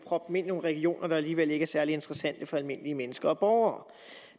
proppe ind i nogle regioner der alligevel ikke er særlig interessante for almindelige mennesker og borgere